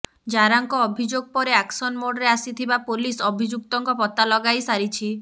ଜାରାଙ୍କ ଅଭିଯୋଗ ପରେ ଆକ୍ସନ ମୋଡ଼ରେ ଆସିଥିବା ପୋଲିସ୍ ଅଭିଯୁକ୍ତଙ୍କ ପତ୍ତା ଲଗାଇ ସାରିଛି